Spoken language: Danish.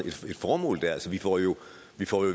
et formål vi får jo